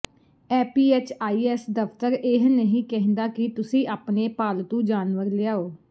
APHIS ਦਫ਼ਤਰ ਇਹ ਨਹੀਂ ਕਹਿੰਦਾ ਕਿ ਤੁਸੀਂ ਆਪਣੇ ਪਾਲਤੂ ਜਾਨਵਰ ਲਿਆਓ